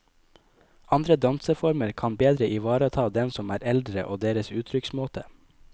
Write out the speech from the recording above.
Andre danseformer kan bedre ivareta dem som er eldre og deres uttrykksmåte.